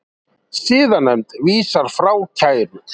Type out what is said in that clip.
Siðanefnd vísar frá kæru